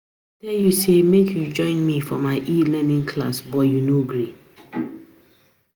I tell you say make you join me for my e-learning class but you no gree